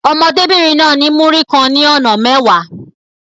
Ọmọdébìnrin náà ní Múrí kan ní ọ̀nà mẹ́wàá.